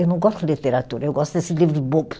Eu não gosto de literatura, eu gosto desse livro